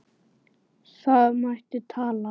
Það mætti ætla.